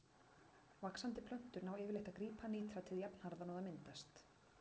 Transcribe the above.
Vaxandi plöntur ná yfirleitt að grípa nítratið jafnharðan og það myndast.